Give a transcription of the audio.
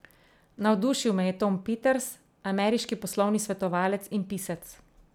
Navdušil me je Tom Peters, ameriški poslovni svetovalec in pisec.